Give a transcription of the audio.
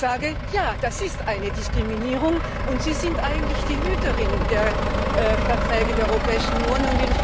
Ich sage Ja, das ist eine Diskriminierung, und Sie sind eigentlich die Hüterin der Verträge der Europäischen Union.